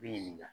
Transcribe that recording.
Bi ɲininka